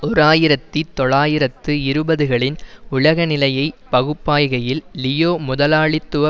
ஓராயிரத்தி தொள்ளாயிரத்து இருபதுகளின் உலக நிலையை பகுப்பாய்கையில் லியோ முதலாளித்துவ